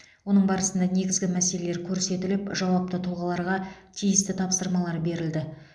оның барысында негізгі мәселелер көрсетіліп жауапты тұлғаларға тиісті тапсырмалар берілді